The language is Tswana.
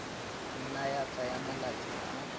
nna ya tsaya malatsi a